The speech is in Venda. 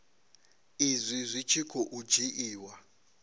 izwi zwi tshi khou dzhiiwa